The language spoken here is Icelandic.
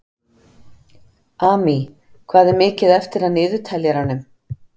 Amy, hvað er mikið eftir af niðurteljaranum?